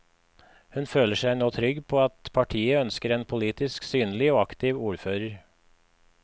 Hun føler seg nå trygg på at partiet ønsker en politisk synlig og aktiv ordfører.